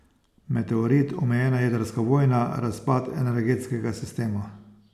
Meteorit, omejena jedrska vojna, razpad energetskega sistema.